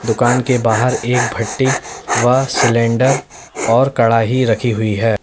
दुकान के बाहर एक भट्टी व सिलेंडर और कड़ाही रखी हुई है।